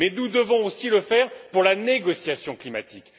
Mais nous devons aussi le faire pour la négociation climatique.